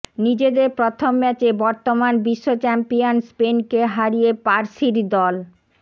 নিজেদের প্রথম ম্যাচে বর্তমান বিশ্বচ্যাম্পিয়ন স্পেনকে হারিয়ে পার্সির দল